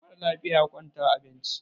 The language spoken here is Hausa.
mara lafiya ya kwantar a benci